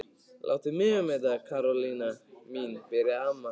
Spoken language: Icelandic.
Láttu mig um þetta Karólína mín byrjaði amma.